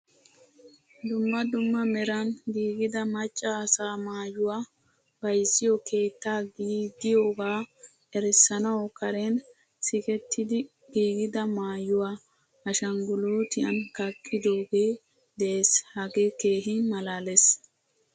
Dumma dumma meran giigida macca asaa maayuwaa bayzziyo keettaa gidiyoga erissanawu karen sikkettidi giigida maayuwaa ashangulutiyan kaqqidoge de'ees. Hage keehin malaalees.